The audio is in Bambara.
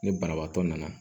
Ni banabaatɔ nana